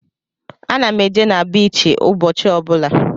Ana m eje na biichi ụbọchị ọ bụla.